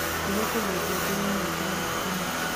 nĩndĩrekerĩre ngengere ya gũũkĩra rũcĩĩni